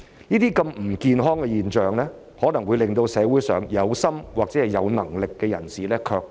這些不健康的現象可能會令社會上有心或有能力的人士卻步。